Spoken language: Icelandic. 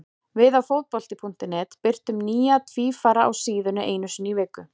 Við á Fótbolti.net birtum nýja tvífara á síðunni einu sinni í viku.